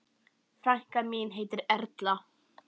Frænka mín heitir Erla.